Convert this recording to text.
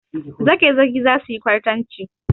Zagezagi za su yi kwartanci.